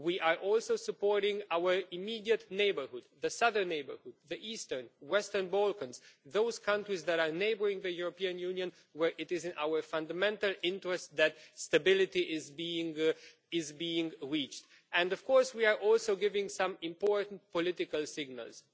We are also supporting our immediate neighbourhood the southern neighbourhood, the Eastern neighbourhood and the Western Balkans, those countries that are neighbouring the European Union where it is in our fundamental interest that stability is being achieved and, of course, we are also giving some important political signals.